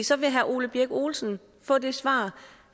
så vil herre ole birk olesen få det svar